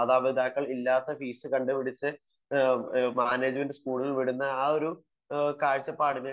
മാതാപിതാക്കൾ ഇല്ലാത്ത ഫീസ് കണ്ടുപിടിച്ചു മാനേജമെന്റ് സ്കൂളുകളിൽ വിടുന്ന ആ ഒരു കാഴ്ചപ്പാടിനെ